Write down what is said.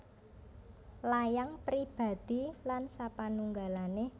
Layang Pribadi lan sapanunggalané